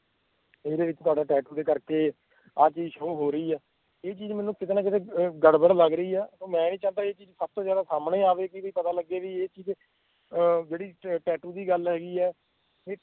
ਓਹਦੇ ਵਿਚ ਤੁਹਾਡਾ tattoo ਕਰਕੇ ਆਹ ਚੀਜ਼ show ਹੋ ਰਹੀ ਆ ਇਹ ਚੀਜ਼ ਕੀਤੇ ਨਾ ਕੀਤੇ ਮੈਂਨੂੰ ਗੜਬੜ ਲਗ ਰਹੀ ਆ ਮੈਂ ਨੀ ਚਾਹੰਦਾ ਬੀ ਇਹ ਚੀਜ਼ ਸਾਹਮਣੇ ਆਵੇ ਕਿ ਇਹਦਾ ਪਤਾ ਲੱਗੇ ਵੀ ਇਹ ਚੀਜ਼ ਅਹ ਜਿਹੜੀ tattoo ਦੀ ਗੱਲ ਹੈਗੀ ਆ